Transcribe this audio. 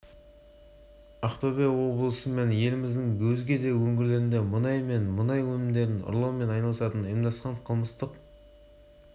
ақтөбеде арнайы операция барысында мұнай ұрлады деген күдікпен бірнеше адам ұсталды оның ішінде салафизм ағымын ұстанған қылмыстық топтың мүшелері де бар